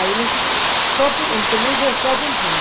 Aí, só no começo, só apontando.